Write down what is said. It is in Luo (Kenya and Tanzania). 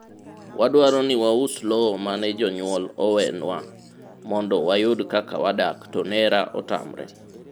wadwaro ni waus lowo mane jonyuol oweyonwa mondo wayud kaka wadak to nera otamre